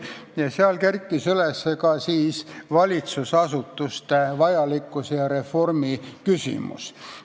Ja seal kerkis üles ka valitsusasutuste vajalikkuse ja reformi küsimus.